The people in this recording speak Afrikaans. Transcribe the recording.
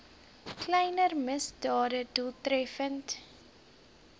kleiner misdade doeltreffend